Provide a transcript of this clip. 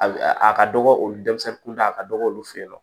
A a ka dɔgɔ olu denmisɛnnin kun da a ka dɔgɔ olu fɛ yen nɔ